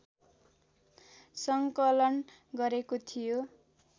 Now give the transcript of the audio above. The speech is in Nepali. सङ्कलन गरेको थियो